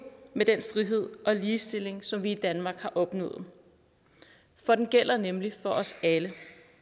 med den frihed og ligestilling som vi i danmark har opnået for den gælder nemlig for os alle